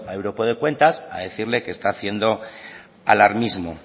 europeo de cuentas a decirle que está haciendo alarmismo